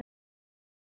Tvö mál.